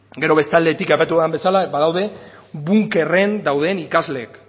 gero bestaldetik aipatu dudan bezala badaude bunkerren dauden ikasleak